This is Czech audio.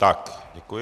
Tak, děkuji.